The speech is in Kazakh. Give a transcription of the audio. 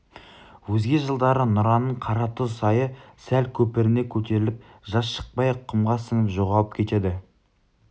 өзге жылдары нұраның қаратұз сайы сәл көпіріне көтеріліп жаз шықпай-ақ құмға сіңіп жоғалып кетеді